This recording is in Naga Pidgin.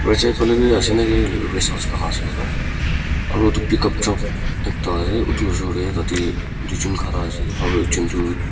right side fale be ase na ki aru etu pickup truck ekta ahe etu ushor te tate doijon khara ase aru ekjon tu--